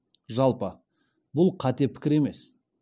жалпы бұл қате пікір емес